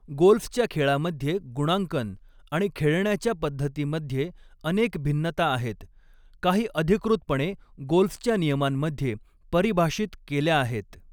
गोल्फच्या खेळामध्ये गुणांकन आणि खेळण्याच्या पद्धतीमध्ये अनेक भिन्नता आहेत, काही अधिकृतपणे गोल्फच्या नियमांमध्ये परिभाषित केल्या आहेत.